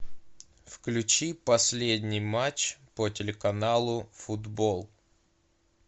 включи последний матч по телеканалу футбол